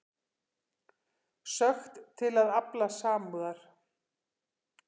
Sökkt til að afla samúðar